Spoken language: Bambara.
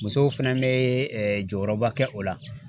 Musow fɛnɛ bɛ jɔyɔrɔba kɛ o la.